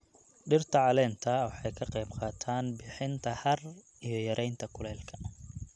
Dhirta caleenta waxay ka qayb qaataan bixinta hadh iyo yareynta kuleylka.